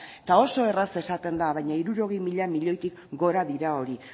eta oso erraz esaten da baina hirurogei mila milioitik gora dira hori